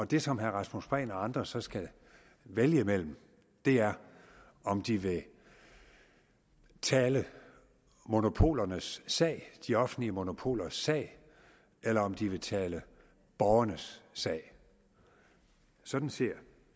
det som herre rasmus prehn og andre så skal vælge mellem er om de vil tale monopolernes sag de offentlige monopolers sag eller om de vil tale borgernes sag sådan ser